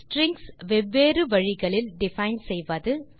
strings வெவ்வேறு வழிகளில் define செய்வது